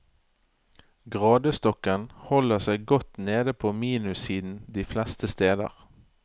Gradestokken holder seg godt nede på minussiden de fleste steder.